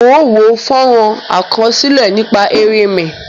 Mo wo fónrón àkásílẹ́ nípa erinmí